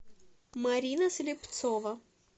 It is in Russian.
марина слепцова